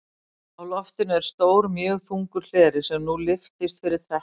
Á loftinu er stór mjög þungur hleri, sem nú lyftist fyrir trekknum.